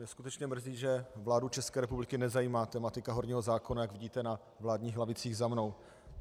Mě skutečně mrzí, že vládu České republiky nezajímá tematika horního zákona, jak vidíte na vládních lavicích za mnou.